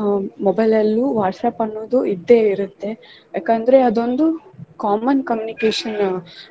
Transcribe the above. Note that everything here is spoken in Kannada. ಅಹ್ mobile ಅಲ್ಲೂ WhatsApp ಅನ್ನೋದು ಇದ್ದೆ ಇರತ್ತೆ ಯಾಕಂದ್ರೆ ಅದೊಂದು common communication .